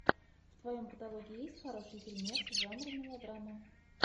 в твоем каталоге есть хороший фильмец жанра мелодрама